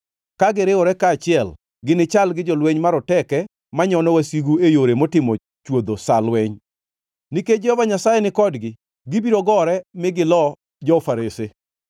Ka giriwore kaachiel, ginichal gi jolweny maroteke manyono wasigu e yore motimo chwodho sa lweny. Nikech Jehova Nyasaye ni kodgi, gibiro gore mi gilo jo-farese.